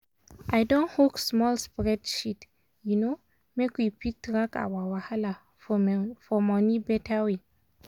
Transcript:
i don hook small spreadsheet um make we fit track our wahala for for money beta way.